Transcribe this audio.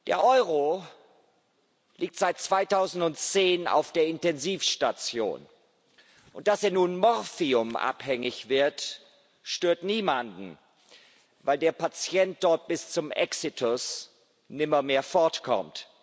Der Euro liegt seit 2010 auf der Intensivstation, und dass er nun morphiumabhängig wird, stört niemanden, weil der Patient dort bis zum Exitus nimmermehr fortkommt.